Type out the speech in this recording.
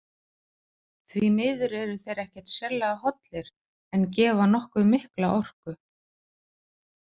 Því miður eru þeir ekkert sérlega hollir en gefa nokkuð mikla orku.